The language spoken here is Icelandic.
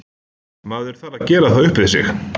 Maður þarf að gera það upp við sig.